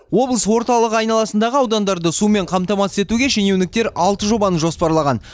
облыс орталығы айналасындағы аудандарды сумен қамтамасыз етуге шенеуніктер алты жобаны жоспарлаған